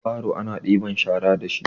baro ana ɗibar shara da shi